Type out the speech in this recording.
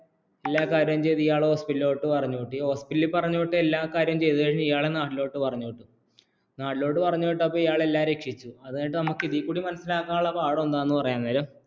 എല്ലാ കാര്യം ചെയ്തു ഇയാളെ ഹോസ്പിറ്റലിലോട്ടു പറഞ്ഞുവിട്ടു ഹോസ്പിറ്റലിലോട്ട് പറഞ്ഞു എല്ലാ കാര്യം ചെയ്ത് കഴിഞ്ഞ ഇയാളെ നാട്ടിലോട്ട് പറഞ്ഞോ നാട്ടിലോട്ട് പറഞ്ഞ വിട്ടപ്പോൾ എല്ലാ രക്ഷിച്ചു നമുക്ക് ഇതില്‍ കൂടി മനസിലാകന്നുള്ള പാഠം എന്താന്നുപരയുംനേരം